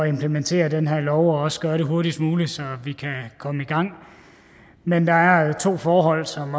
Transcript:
implementere den her lov og også gøre det hurtigst muligt så vi kan komme i gang men der er to forhold som